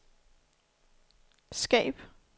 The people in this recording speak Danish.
skab